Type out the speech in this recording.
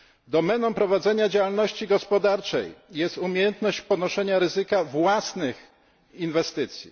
Domeną prowadzenia działalności gospodarczej jest umiejętność ponoszenia ryzyka własnych inwestycji.